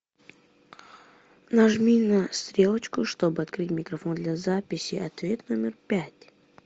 нажми на стрелочку чтобы открыть микрофон для записи ответ номер пять